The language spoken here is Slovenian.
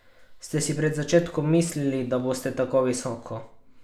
Ste si pred začetkom mislili, da boste tako visoko?